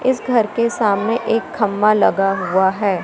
इस घर के सामने एक खम्मा लगा हुआ है।